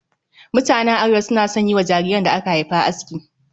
Mutanen Arewa suna son yi wa jariran da aka haifa aski